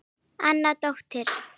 Anna dóttir